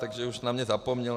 Takže už na mě zapomněl.